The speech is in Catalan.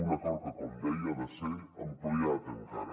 un acord que com deia ha de ser ampliat encara